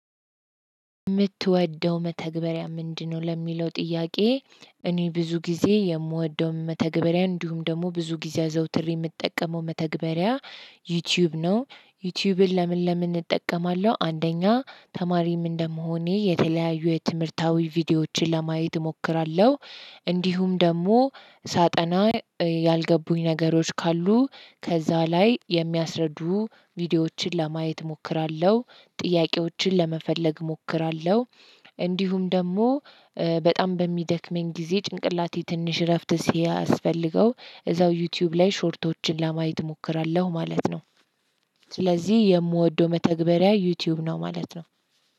ምትወደው መተግበሪያ ምንድነው ለሚለው ጥያቄ? እኔ ብዙ ጊዜ የምወደው መተግበሪያ እንዲሁም ደግሞ ብዙ ጊዜ አዘውትሬ ምጠቀመው መተግበሪያ ዩትዩብ ነው። ዩቲዩብን ለምን ለምን እጠቀማለሁ? አንደኛ ተማሪም እንደመሆኔ የተለያዩ የትምህርታዊ ቪዲዮዎችን ለማየት እሞክራለሁ። እንዲሁም ደግሞ ሳጠና ያልገቡኝ ነገሮች ካሉ ከዛ ላይ የሚያስረዱ ቪዲዮዎችን ለማየት እሞክራለሁ ጥያቄዎችን ለመፈለግ እሞክራለሁ። እንዲሁም ደግሞ በጣም በሚደክመኝ ጊዜ ጭንቅላቴ ትንሽ እረፍት ሲያስፈልገው እዛው ዩትዩብ ላይ ሾርቶችን ለማየት እሞክራለሁ ማለት ነው። ስለዚህ የምወደው መተግበሪያ ዩትዩብ ነው ማለት ነው።